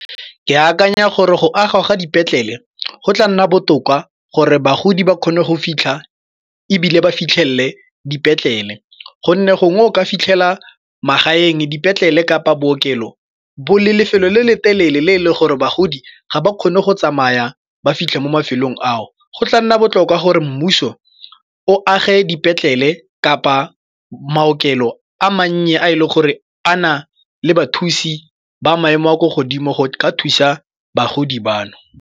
Ke akanya gore go agwa ga dipetlele go tla nna botoka gore bagodi ba kgone go fitlha ebile ba fitlhelele dipetlele gonne gongwe o ka fitlhela magaeng dipetlele kapa bookelo bo leng lefelo le le telele le e leng gore bagodi ga ba kgone go tsamaya ba fitlha mo mafelong ao. Go tla nna botlhokwa gore mmuso o age dipetlele kapa maokelo a mannye a e leng gore a na le bathusi ba maemo a kwa godimo go ka thusa bagodi bano.